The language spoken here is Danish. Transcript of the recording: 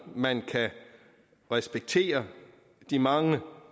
at man kan respektere de mange